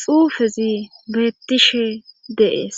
xuufezi beettishe deees